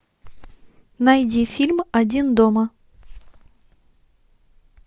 найди фильм один дома